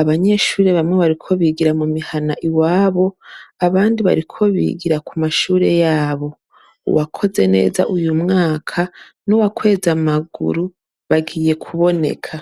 Abanyeshure bamwe bariko bigira mumihana iwabo, abandi bariko bigira kumashuri yabo. uwakoze neza uyu mwaka, n’uwakweze amaguru, bagiye kuboneka.